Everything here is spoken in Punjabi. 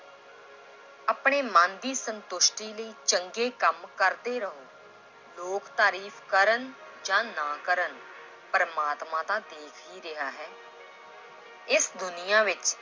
ਆਪਣੇ ਮਨ ਦੀ ਸੰਤੁਸ਼ਟੀ ਲਈ ਚੰਗੇ ਕੰਮ ਕਰਦੇ ਰਹੋ ਲੋਕ ਤਾਰੀਫ਼ ਕਰਨ ਜਾਂ ਨਾ ਕਰਨ ਪਰਮਾਤਮਾ ਤਾਂ ਦੇਖ ਹੀ ਰਿਹਾ ਹੈ ਇਸ ਦੁਨੀਆਂ ਵਿੱਚ